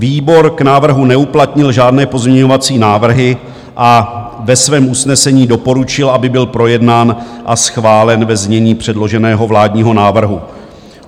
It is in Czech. Výbor k návrhu neuplatnil žádné pozměňovací návrhy a ve svém usnesení doporučil, aby byl projednán a schválen ve znění předloženého vládního návrhu.